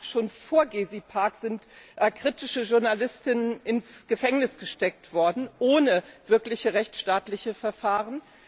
Schon vor Gezi Park sind kritische Journalisten und Journalistinnen ins Gefängnis gesteckt worden, ohne wirkliche rechtsstaatliche Verfahren.